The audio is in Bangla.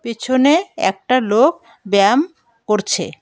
পিছনে একটা লোক ব্যায়াম করছে।